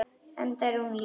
Enda er hún engu lík.